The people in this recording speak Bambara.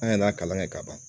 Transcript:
An y'a kalan kɛ ka ban